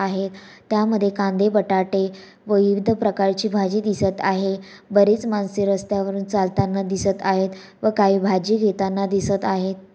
आहेत त्यामध्ये कांदे बटाटे व विविध प्रकारची भाजी दिसत आहे बरेच माणसे रस्त्यावरून चालताना दिसत आहेत व काही भाजी घेताना दिसत आहेत.